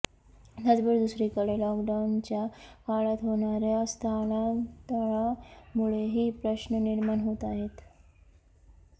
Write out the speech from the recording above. त्याचबरोबर दुसरीकडे लॉकडाऊनच्या काळात होणाऱ्या स्थलांतरामुळेही प्रश्न निर्माण होत आहेत